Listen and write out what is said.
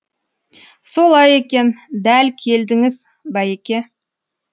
солай екен дәл келдіңіз бәйеке